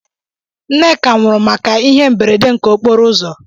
Nneka nwụrụ màkà ihe mberede nke okporouzo.